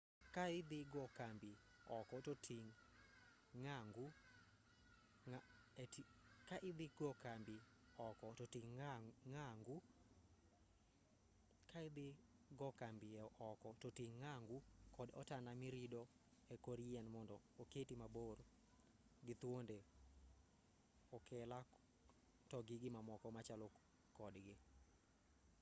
ka idhi go kambi oko to ting' ng'angu kta otanda mirido e kor yien mondo oketi mabor gi thuonde okela to gi mamoko machalo kodgi